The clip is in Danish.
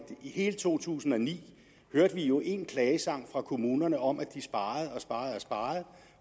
i to tusind og ni hørte vi jo én klagesang fra kommunerne om at de sparede og sparede og sparede